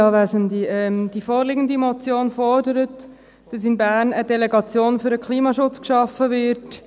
Die vorliegende Motion fordert, dass in Bern eine Delegation für den Klimaschutz geschaffen wird.